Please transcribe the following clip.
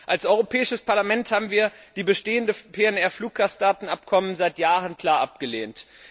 Als Europäisches Parlament haben wir die bestehenden PNR Fluggastdatenabkommen seit Jahren klar abgelehnt.